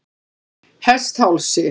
Hesthálsi